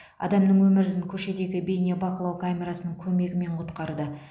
адамның өмірін көшедегі бейнебақылау камерасының көмегімен құтқарды